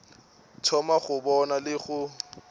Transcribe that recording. thoma go bona le go